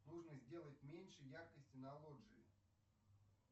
нужно сделать меньше яркости на лоджии